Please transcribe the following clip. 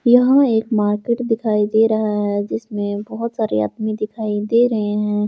यहां एक मार्केट दिखाई दे रहा है जिसमें बहुत सारी आदमी दिखाई दे रहे हैं ।